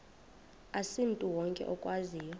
asimntu wonke okwaziyo